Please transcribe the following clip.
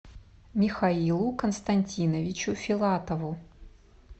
михаилу константиновичу филатову